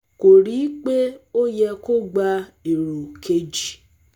kò rí i pé ó yẹ kó gba èrò kejì